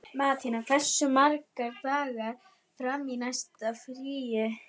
Mattíana, hversu margir dagar fram að næsta fríi?